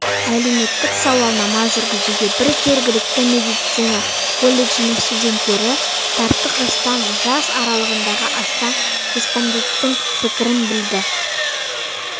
әлеуметтік сауалнама жүргізуге бір жергілікті медицина колледжінің студенттерін тарттық жастар жас аралығындағы астам респонденттің пікірін білді